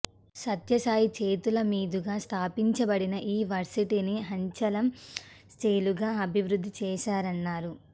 సత్యసాయి చేతుల మీదుగా స్థాపించబడిన ఈ వర్సిటీని అంచలం చెలుగా అభివృద్ధి చేశారన్నారు